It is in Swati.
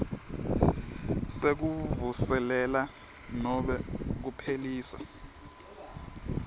sekuvuselela nobe kuphelisa